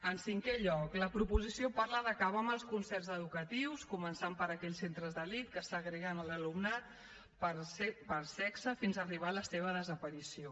en cinquè lloc la proposició parla d’acabar amb els concerts educatius començant per aquells centres d’elit que segreguen l’alumnat per sexe fins arribar a la seva desaparició